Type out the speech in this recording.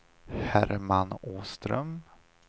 Herman Åström